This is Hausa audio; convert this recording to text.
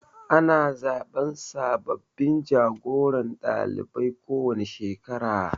Ana zaɓen sababbin jagoran ɗalibai kowane shekara